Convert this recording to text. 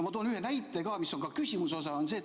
Ma toon ühe näite, mis on ka küsimuse osa.